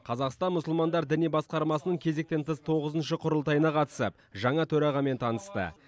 қазақстан мұсылмандар діни басқармасының кезектен тыс тоғызыншы құрылтайына қатысып жаңа төрағамен танысты